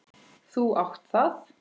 Þú átt það.